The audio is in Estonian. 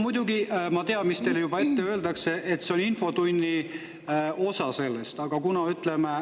Muidugi, ma tean, mis teile ette öeldakse: et see käib infotunni kohta.